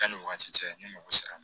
K'ale wagati cɛ ne mago sera a ma